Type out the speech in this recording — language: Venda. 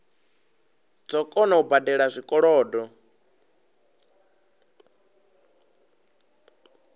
dzo kona u badela zwikolodo